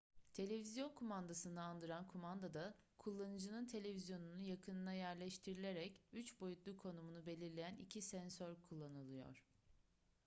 televizyon kumandasını andıran kumandada kullanıcının televizyonunun yakınına yerleştirilerek üç boyutlu konumunu belirleyen iki sensör kullanılıyor